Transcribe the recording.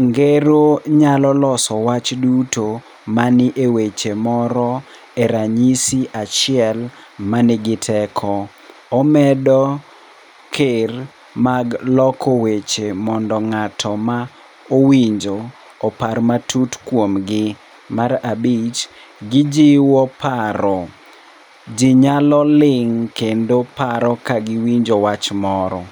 Ngero nyalo loso wach duto mani e weche moro e ranyisi achiel manigi teko. Omedo ker mag loko weche mondo ng'ato ma owinjo opar matut kuomgi. Mar abich, gijiwo paro. Ji nyalo ling' kendo paro ka giwinjo wach moro.